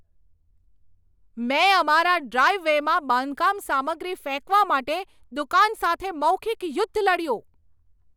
મેં અમારા ડ્રાઈવ વેમાં બાંધકામ સામગ્રી ફેંકવા માટે દુકાન સાથે મૌખિક યુદ્ધ લડ્યું.